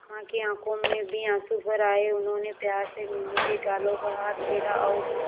मां की आंखों में भी आंसू भर आए उन्होंने प्यार से मीनू के गालों पर हाथ फेरा और